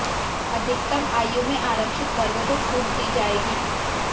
अधिकतम आयु में आरक्षित वर्ग को छुट दी जाएगी